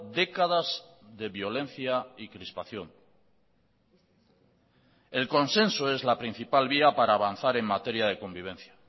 décadas de violencia y crispación el consenso es la principal vía para avanzar en materia de convivencia